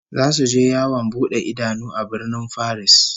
Zasu je yawon bude idanu a Birnin Faris